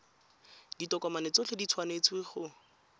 ditokomane tsotlhe di tshwanetse go